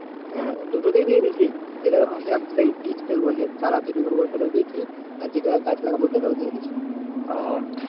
দুটো তেই দিয়ে দিছি। যেটা ভেবেছিলাম সেই বীজ ফেলবো যে চারা তৈরি করবো ওটাতে ও দিয়েছি আর যেটায় গাছ লাগাবো ওটা তেও দিয়ে দিছি।